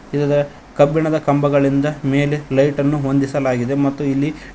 ಇಲ್ಹ ಕಬ್ಬಿಣದ ಕಂಬಗಳಿಂದ ಮೇಲೆ ಲೈಟ್ ಅನ್ನು ಹೊಂದಿಸಲಾಗಿದೆ ಮತ್ತು ಇಲ್ಲಿ--